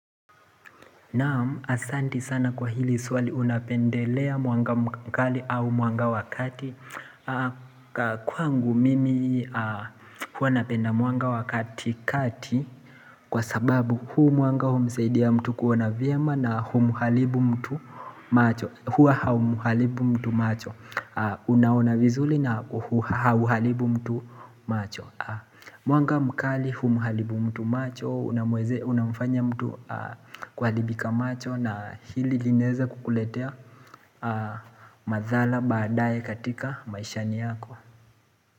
Naam asanti sana kwa hili swali unapendelea mwanga mkali au mwanga wakati Kwa ngu mimi hua napenda mwanga wakati kati Kwa sababu huu mwanga humsaidia mtu kuona vyema na huu muharibu mtu macho Huwa hau muharibu mtu macho Unaona vizuri na huu hau muharibu mtu macho muanga mkali huu muharibu mtu macho Unamweze unamfanya mtu kuha ribika macho na hili lineza kukuletea madhara badaye katika maishani yako.